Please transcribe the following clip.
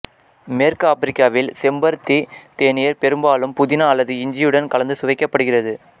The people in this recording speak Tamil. மேற்கு ஆப்பிரிக்காவில் செம்பருத்தி தேநீர் பெரும்பாலும் புதினா அல்லது இஞ்சியுடன் கலந்து சுவைக்கப்படுகிறது